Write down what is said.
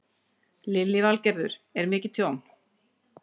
Lillý Valgerður: Er mikið tjón?